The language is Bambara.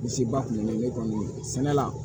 Misi ba kun bɛ ne kɔni sɛnɛ la